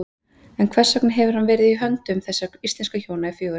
En hvers vegna hefur hann verið í höndum þessara íslensku hjóna í fjögur ár?